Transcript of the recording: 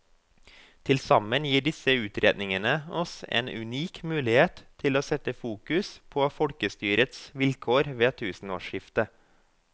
Tilsammen gir disse utredningene oss en unik mulighet til å sette fokus på folkestyrets vilkår ved tusenårsskiftet.